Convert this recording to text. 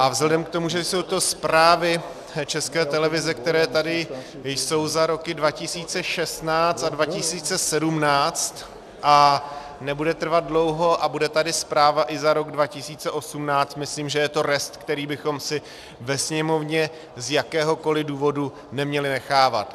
A vzhledem k tomu, že jsou to zprávy České televize, které tady jsou za roky 2016 a 2017, a nebude trvat dlouho a bude tady zpráva i za rok 2018, myslím, že je to rest, který bychom si ve Sněmovně z jakéhokoliv důvodu neměli nechávat.